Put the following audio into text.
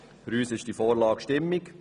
Für uns ist die Vorlage stimmig.